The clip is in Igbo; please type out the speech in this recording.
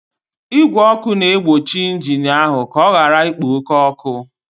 Igwe ọkụ na-egbochi injin ahụ ka ọ ghara ikpo oke ọkụ